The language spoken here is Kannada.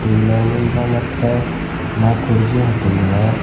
ಬೋಲರ್ ಮುಂದ ಮತ್ತ ನಾಲ್ಕೂ ಕುರ್ಚಿ ಹಾಕಿಂದದ.